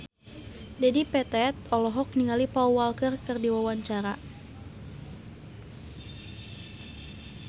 Dedi Petet olohok ningali Paul Walker keur diwawancara